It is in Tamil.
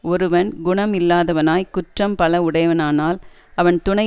ஒருவன் குணம் இல்லாதவனாய் குற்றம் பல உடையவனானால் அவன் துணை